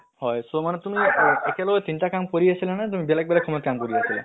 হয়, so মানে তুমি একেলগে তিনটা কাম কৰি আছিলা নে তুমি বেলেগ বেলেগ সময়ত কাম কৰি আছিলে?